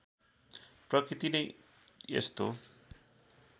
प्रकृति नै यस्तो